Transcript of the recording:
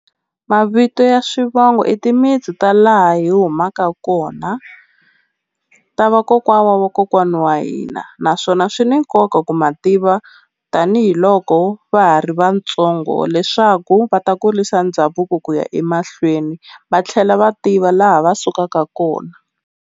Mavito ya swivongo i timitsu ta laha hi humaka kona ta vakokwana wa kokwana wa hina, naswona swi ni nkoka ku ma tiva tanihiloko va ha ri vatsongo leswaku va ta kurisa ndhavuko ku ya emahlweni va tlhela va tiva laha va sukaka kona.